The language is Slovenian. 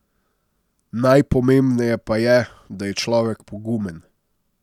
Najpomembneje pa je, da je človek pogumen.